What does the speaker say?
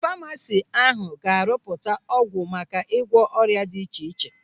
Ndị famasi ahụ ga-arụpụta ọgwụ maka ịgwọ ọrịa dị iche iche.